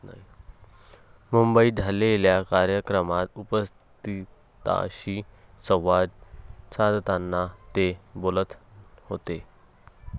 मुंबईत झालेल्या कार्यक्रमात उपस्थितांशी संवाद साधताना ते बोलत होते.